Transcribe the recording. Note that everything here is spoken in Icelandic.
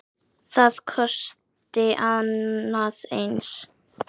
Það kosti annað eins.